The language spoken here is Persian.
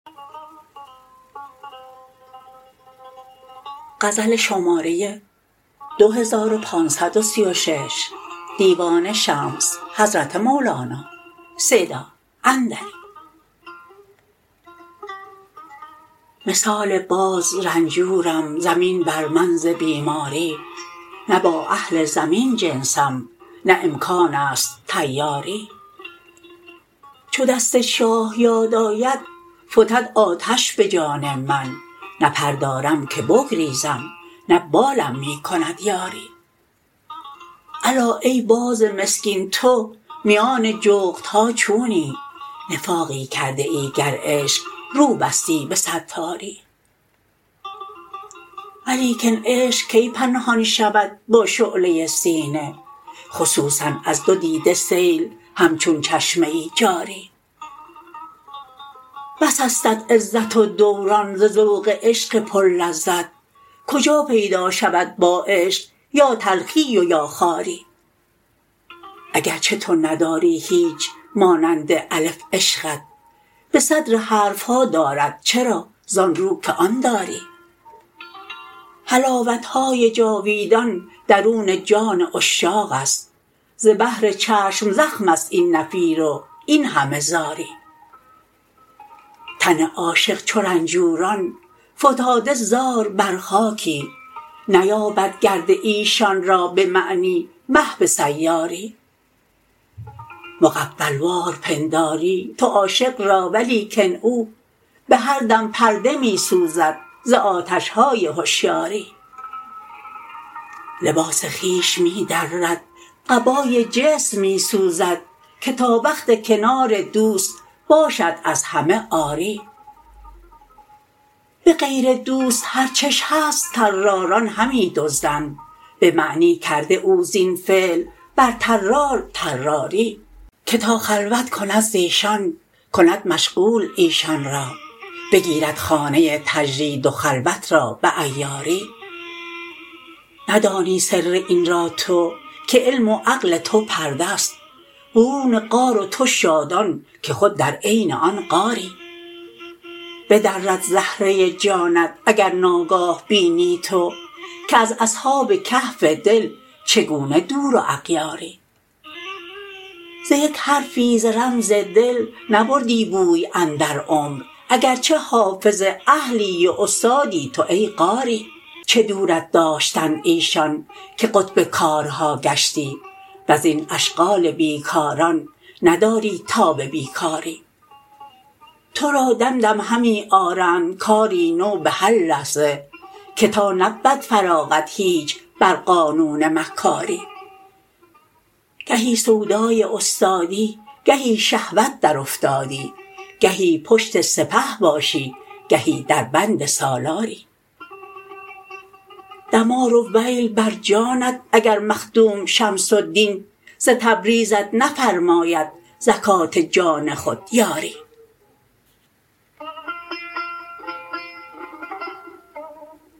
مثال باز رنجورم زمین بر من ز بیماری نه با اهل زمین جنسم نه امکان است طیاری چو دست شاه یاد آید فتد آتش به جان من نه پر دارم که بگریزم نه بالم می کند یاری الا ای باز مسکین تو میان جغدها چونی نفاقی کردیی گر عشق رو بستی به ستاری ولیکن عشق کی پنهان شود با شعله سینه خصوصا از دو دیده سیل همچون چشمه جاری بس استت عزت و دوران ز ذوق عشق پرلذت کجا پیدا شود با عشق یا تلخی و یا خواری اگر چه تو نداری هیچ مانند الف عشقت به صدر حرف ها دارد چرا زان رو که آن داری حلاوت های جاویدان درون جان عشاق است ز بهر چشم زخم است این نفیر و این همه زاری تن عاشق چو رنجوران فتاده زار بر خاکی نیابد گرد ایشان را به معنی مه به سیاری مغفل وار پنداری تو عاشق را ولیکن او به هر دم پرده می سوزد ز آتش های هشیاری لباس خویش می درد قبای جسم می سوزد که تا وقت کنار دوست باشد از همه عاری به غیر دوست هر چش هست طراران همی دزدند به معنی کرده او زین فعل بر طرار طراری که تا خلوت کند ز ایشان کند مشغول ایشان را بگیرد خانه تجرید و خلوت را به عیاری ندانی سر این را تو که علم و عقل تو پرده است برون غار و تو شادان که خود در عین آن غاری بدرد زهره جانت اگر ناگاه بینی تو که از اصحاب کهف دل چگونه دور و اغیاری ز یک حرفی ز رمز دل نبردی بوی اندر عمر اگر چه حافظ اهلی و استادی تو ای قاری چه دورت داشتند ایشان که قطب کارها گشتی و از این اشغال بی کاران نداری تاب بی کاری تو را دم دم همی آرند کاری نو به هر لحظه که تا نبود فراغت هیچ بر قانون مکاری گهی سودای استادی گهی شهوت درافتادی گهی پشت سپه باشی گهی دربند سالاری دمار و ویل بر جانت اگر مخدوم شمس الدین ز تبریزت نفرماید زکات جان خود یاری